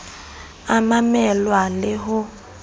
a mamel wa le ho